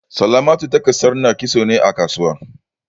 Salamatu take sanar kitso ne a kasuwa.